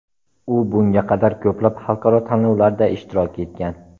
U bunga qadar ko‘plab xalqaro tanlovlarda ishtirok etgan.